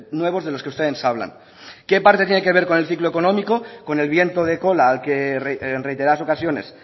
nuevos de los que ustedes hablan qué parte tiene que ver con el ciclo económico con el viento de cola al que en reiteradas ocasiones